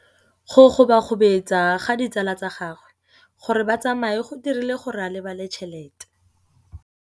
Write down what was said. Go gobagobetsa ga ditsala tsa gagwe, gore ba tsamaye go dirile gore a lebale tšhelete.